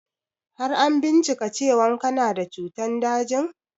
Har an bincika cewan kana da cutan dajin?